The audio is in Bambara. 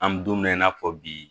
An bɛ don min na i n'a fɔ bi